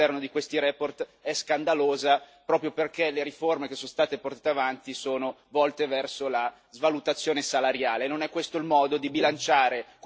L'esaltazione delle riforme all'interno di queste relazioni è scandalosa, proprio perché le riforme che sono state portate avanti sono volte verso la svalutazione salariale.